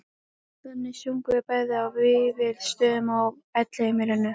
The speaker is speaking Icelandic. Þannig sungum við bæði á Vífilsstöðum og Elliheimilinu